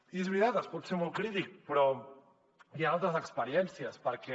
i és veritat es pot ser molt crític però hi han altres experiències perquè